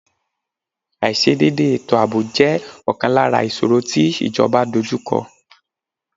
Aiṣedẹde ètò àbò jẹ ọ̀kan lára ìṣòro tí ìjọba dojú kọ